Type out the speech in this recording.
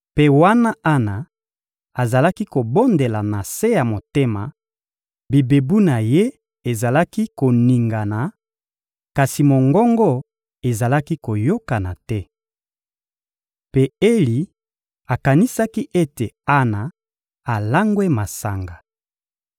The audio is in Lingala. Mpe wana Ana azalaki kobondela na se ya motema, bibebu na ye ezalaki koningana, kasi mongongo ezalaki koyokana te. Mpe Eli akanisaki ete Ana alangwe masanga.